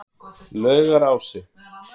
Laugarási